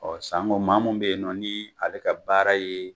Ɔ sanko maa mun be yen n ɔ ni ale ka baara ye